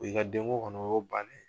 O y'i ka denko kɔni o y'o bannen ye.